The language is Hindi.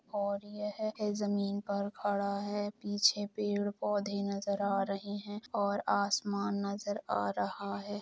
और यह जमीन पर खड़ा है पीछे पेड़ पौधे नजर आ रहे है और आसमान नजर आ रहा है।